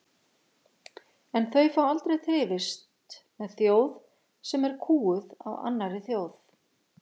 En þau fá aldrei þrifist með þjóð sem er kúguð af annarri þjóð.